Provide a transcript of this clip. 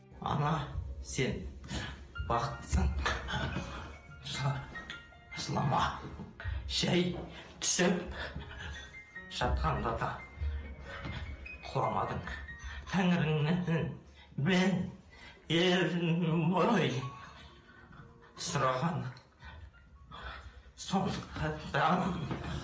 ана сен бақыттысың жылама жай түсіп жатқанда да құламадың тәңіріңнің сұрағаны сондықтан да